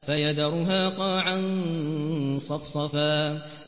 فَيَذَرُهَا قَاعًا صَفْصَفًا